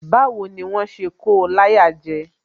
Báwo ni wón ṣe ko láyà jẹ?